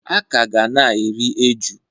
A ka ga na-eri eju.